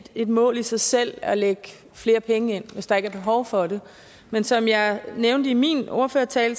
et mål i sig selv at lægge flere penge ind hvis der ikke er behov for det men som jeg nævnte i min ordførertale